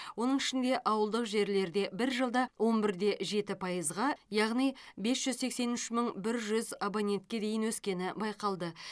оның ішінде ауылдық жерлерде бір жылда он бір де жеті пайызға яғни бес жүз сексен үш мың бір жүз абонентке дейін өскені байқалды